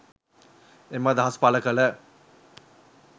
එම අදහස් පළ කළ